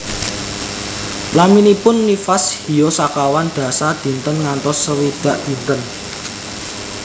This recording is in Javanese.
Laminipun nifas hiyo sekawan dasa dinten ngantos swidak dinten